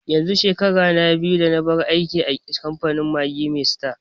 yanzu shekara na biyu da nabar aiki a kamfanin Maggi mai sita